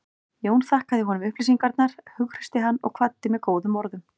Jón þakkaði honum upplýsingarnar, hughreysti hann og kvaddi með góðum orðum.